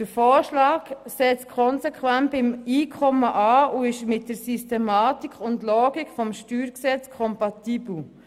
Der Vorschlag setzt konsequent beim Einkommen an und ist mit der Logik des StG kompatibel.